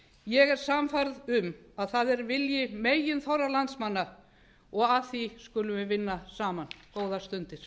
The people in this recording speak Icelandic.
ég er sannfærð um að það er vilji meginþorra landsmanna og að því skulum við vinna saman góðar stundir